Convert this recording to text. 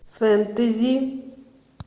фэнтези